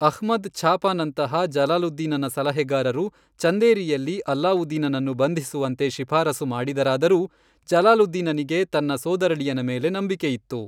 ಅಹ್ಮದ್ ಛಾಪನಂತಹ ಜಲಾಲುದ್ದೀನನ ಸಲಹೆಗಾರರು ಚಂದೇರಿಯಲ್ಲಿ ಅಲ್ಲಾವುದ್ದೀನನನ್ನು ಬಂಧಿಸುವಂತೆ ಶಿಫಾರಸು ಮಾಡಿದರಾದರೂ ಜಲಾಲುದ್ದೀನನಿಗೆ ತನ್ನ ಸೋದರಳಿಯನ ಮೇಲೆ ನಂಬಿಕೆಯಿತ್ತು.